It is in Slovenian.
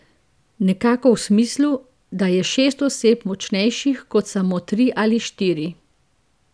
Nekako v smislu, da je šest oseb močnejših kot samo tri ali štiri.